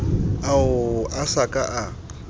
ao a sa ka a